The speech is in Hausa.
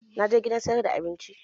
Na je gidan sayar da abinci